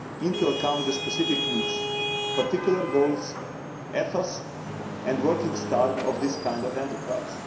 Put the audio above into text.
into account the specific needs, particular goals, efforts and working style of this kind of enterprise.